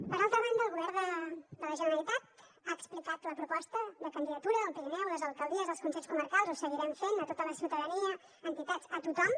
per altra banda el govern de la generalitat ha explicat la proposta de candidatura del pirineu a les alcaldies als consells comarcals ho seguirem fent a tota la ciutadania a entitats a tothom